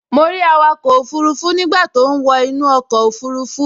Mo rí awakọ̀ òfurufú nígbà tó ń wọ inú ọkọ̀ òfurufú